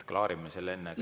Klaarime selle enne ära.